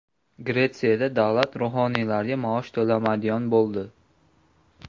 Gretsiyada davlat ruhoniylarga maosh to‘lamaydigan bo‘ldi.